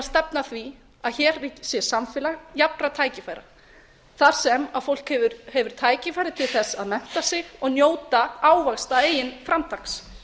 stefna að því að hér sé samfélag jafnra tækifæra þar sem fólk hefur tækifæri til að mennta sig og njóta ávaxta eigin framtaks